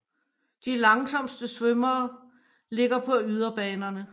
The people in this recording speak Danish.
De langsomste svømmere ligger på yderbanerne